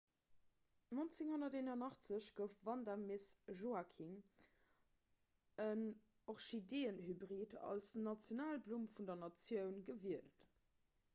1981 gouf vanda miss joaquim en orchideeënhybrid als nationalblumm vun der natioun gewielt